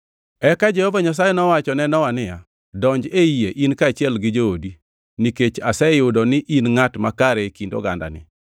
Eka Jehova Nyasaye nowacho ne Nowa niya, “Donj ei yie, in kaachiel gi joodi, nikech aseyudo ni in ngʼat makare e kind ogandani.